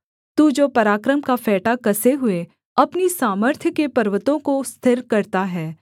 तू जो पराक्रम का फेंटा कसे हुए अपनी सामर्थ्य के पर्वतों को स्थिर करता है